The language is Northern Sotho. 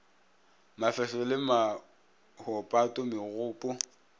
mafehlo le maho pato megopo